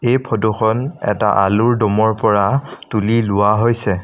এই ফটোখন এটা আলুৰ দমৰ পৰা তোলি লোৱা হৈছে।